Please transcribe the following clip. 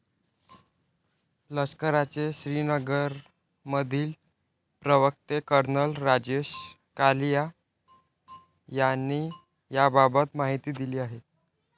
लष्कराचे श्रीनगरमधील प्रवक्ते कर्नल राजेश कालिया यांनी याबाबत माहिती दिली आहे.